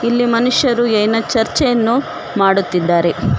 ಈ ಮನುಷ್ಯರು ಏನ ಚರ್ಚೆಯನ್ನು ಮಾಡುತ್ತಿದ್ದಾರೆ.